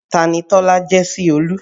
Tani Tọ́lá jẹ́ sí Olú?